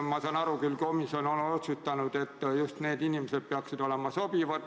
Ma saan aru küll, et komisjon on otsustanud, et just need inimesed peaksid olema sobivad.